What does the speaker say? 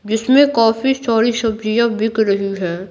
जिसमें काफी सारी सब्जियां बिक रही है।